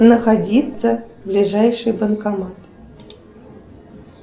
находится ближайший банкомат